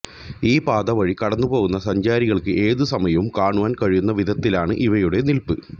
ഈ പാത വഴി കടന്നുപോകുന്ന സഞ്ചാരികൾക്ക് ഏതുസമയവും കാണുവാൻ കഴിയുന്ന വിധത്തിലാണ് ഇവയുടെ നില്പ്